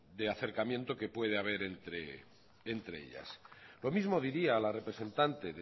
de acercamiento que puede haber entre ellas lo mismo diría a la representante